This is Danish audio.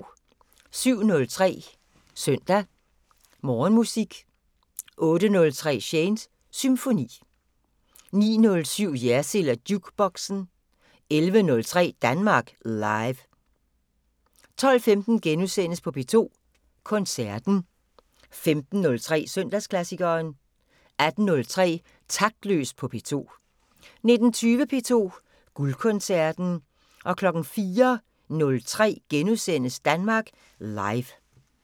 07:03: Søndag Morgenmusik 08:03: Shanes Symfoni 09:07: Jersild & Jukeboxen 11:03: Danmark Live 12:15: P2 Koncerten * 15:03: Søndagsklassikeren 18:03: Taktløs på P2 19:20: P2 Guldkoncerten 04:03: Danmark Live *